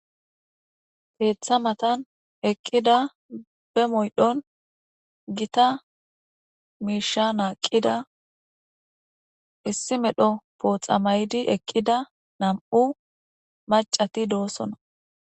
Be moydhdhon kon'a naqqida maccatti keeththa matan eqqidii detees